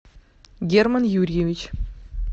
герман юрьевич